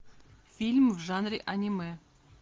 фильм в жанре аниме